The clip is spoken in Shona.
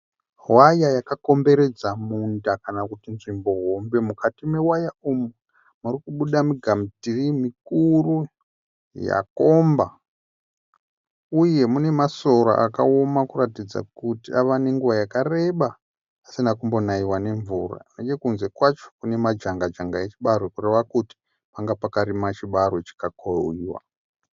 Waya yakakomberedza munda kana kuti nzvimbo hombe. Mukati mewaya umu murikubuda migamutirii mikuru yakomba uye munemasora akawoma kuratidza kuti ava nenguva yakareba asina kumbonaiwa nemvura. Nechekunze kwacho kunemajanga-janga echibarwe kureva kuti panga pakarimwa chibarwe chikakohwiwa.